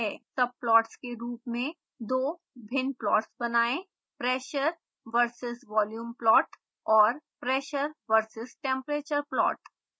subplots के रूप में दो भिन्न प्लॉट्स बनाएं: